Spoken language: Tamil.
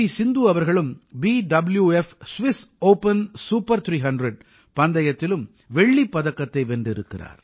சிந்து அவர்களும் பியூஎஃப் ஸ்விஸ் ஒப்பன் சூப்பர் 300 பந்தயத்திலும் வெள்ளிப் பதக்கத்தை வென்றிருக்கிறார்